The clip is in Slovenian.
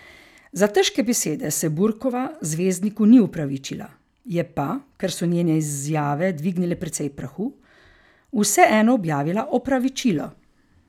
Za težke besede se Burkova zvezdniku ni opravičila, je pa, ker so njene izjave dvignile precej prahu, vseeno objavila opravičilo.